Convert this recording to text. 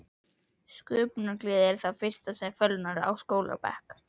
Sköpunargleðin er það fyrsta sem fölnar á skólabekk.